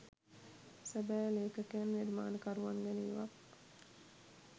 සැබෑ ලේඛකයන් නිර්මාණකරුවන් ගැන ඉවක්